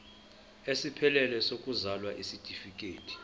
esiphelele sokuzalwa isitifikedi